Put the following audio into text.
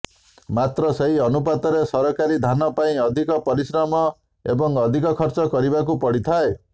ମାତ୍ର ସେହି ଅନୁପାତରେ ସରକାରୀ ଧାନ ପାଇଁ ଅଧିକ ପରିଶ୍ରମ ଏବଂ ଅଧିକ ଖର୍ଚ୍ଚ କରିବାକୁ ପଡ଼ିଥାଏ